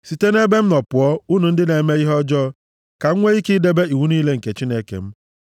Sitenụ nʼebe m nọ pụọ, unu ndị na-eme ihe ọjọọ, ka m nwee ike idebe iwu niile nke Chineke m!